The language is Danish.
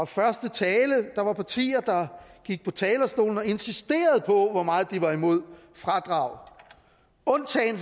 første tale der var partier der gik på talerstolen og insisterede på hvor meget de var mod fradrag undtagen